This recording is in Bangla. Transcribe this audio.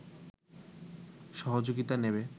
সহযোগিতা নেবে